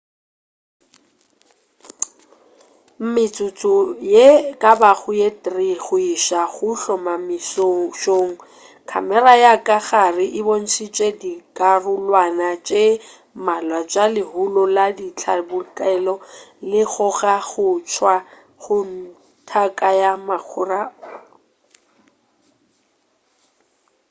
metsotso ye e ka bago ye 3 go iša go hlomamišong khamera ya ka gare e bontšitše dikarolwana tše mmalwa tša lehulo la ditlabakelo le kgoga go tšwa go tanka ya makhura